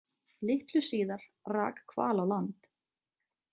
Litlu síðar rak hval á land.